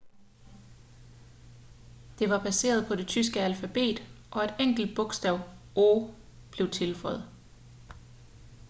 det var baseret på det tyske alfabet og et enkelt bogstav õ/õ blev tilføjet